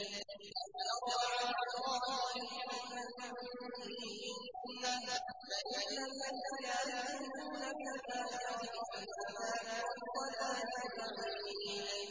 أَفْتَرَىٰ عَلَى اللَّهِ كَذِبًا أَم بِهِ جِنَّةٌ ۗ بَلِ الَّذِينَ لَا يُؤْمِنُونَ بِالْآخِرَةِ فِي الْعَذَابِ وَالضَّلَالِ الْبَعِيدِ